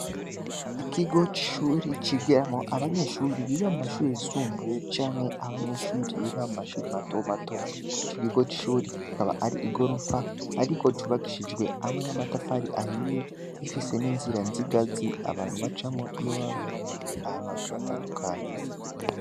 Ikigo c'ishuri, cigiramwo abanyeshuri biga mu mashure yisumbuye, canke abanyeshuri biga mu mashuri mato mato; ico kigo c'ishuri kikaba ari igorofa, ariko cubakishijwe hamwe n'amatafari ahiye, gifise n'inzira z'ingazi, abantu bacamwo, iyo baba bagiye ahantu hagiye hatandukanye.